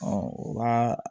o b'a